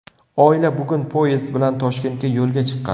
Oila bugun poyezd bilan Toshkentga yo‘lga chiqqan.